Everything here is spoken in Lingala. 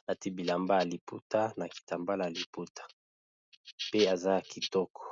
alati bilamba ya maputa na kitambala ya maputa pe aza kitoko.